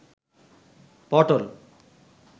পটল